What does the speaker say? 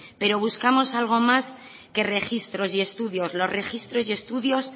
pero buscamos algo más que registros y estudios los registros y estudios